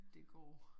Det går